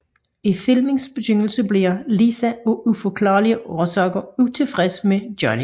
I filmens begyndelse bliver Lisa af uforklarlige årsager utilfreds med Johnny